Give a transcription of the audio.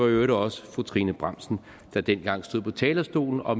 øvrigt også fru trine bramsen der dengang stod på talerstolen og